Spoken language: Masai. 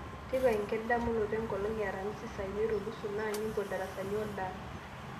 tipika enkidamunoto enkolong e aramisi saa imiet o nusu na nimpot darasani oldance